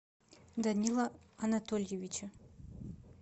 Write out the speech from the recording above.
данила анатольевича